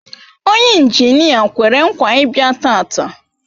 Onye injinia kwere nkwa Ibia taata